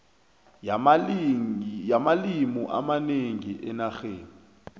yamalimi amanengi enarheni